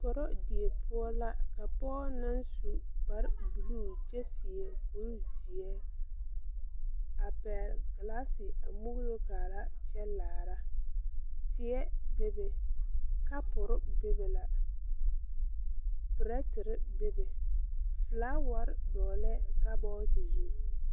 Korodie poɔ la ka poge naŋ su kpare bluu kyɛ seɛ kurizeɛ a pɛgle glasse a muulo kaaraa kyɛ laara tie bebe kapurre bebe la prɛterre bebe flaawarre dɔɔlɛɛ kabɔɔte zu.